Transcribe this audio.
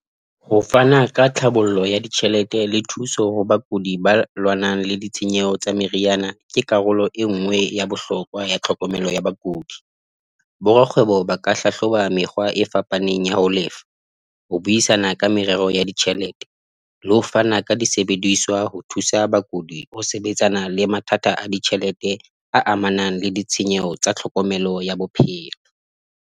Ho fana ka tlhabollo ya ditjhelete le thuso ho bakudi ba lwanang le ditshenyehelo tsa meriana ke karolo e nngwe ya bohlokwa ya tlhokomelo ya bakudi. Borakgwebo ba ka hlahloba mekgwa e fapaneng ya ho lefa, ho buisana ka merero ya ditjhelete le ho fana ka disebediswa ho thusa bakudi o sebetsana le mathata a ditjhelete a amanang le ditshenyeho tsa tlhokomelo ya bophelo.